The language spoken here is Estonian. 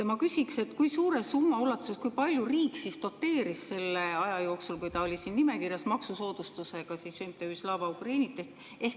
Ma küsiks, kui suure summa ulatuses riik doteeris selle aja jooksul, kui ta oli siin nimekirjas, maksusoodustusega MTÜ-d Slava Ukraini.